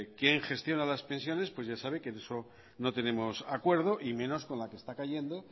quién gestiona las pensiones pues ya sabe que en eso no tenemos acuerdo y menos con la que está cayendo